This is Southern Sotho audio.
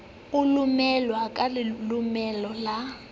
a lomolwe ka lelomolo la